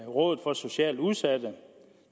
rådet for socialt udsatte